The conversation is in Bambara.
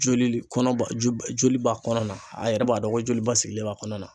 Joli le kɔnɔba ju ba joli b'a kɔnɔna na a yɛrɛ b'a dɔn ko joli ba sigilen b'a kɔnɔ na.